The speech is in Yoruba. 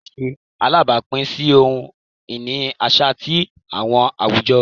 Awọn arosọ ṣe alabapin si ohun-ini aṣa ti awọn awujọ